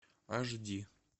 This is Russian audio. аш ди